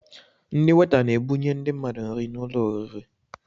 Ndị weta n'ebunye ndị mmadụ nri n'ụlọ oriri